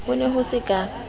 ho ne ho se ka